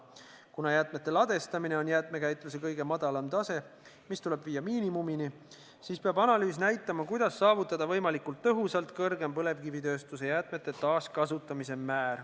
Kuna jäätmete ladestamine on jäätmekäitluse kõige madalam tase, mis tuleb viia miinimumini, siis peab analüüs näitama, kuidas saavutada võimalikult tõhusalt kõrgem põlevkivitööstuse jäätmete taaskasutamise näitaja.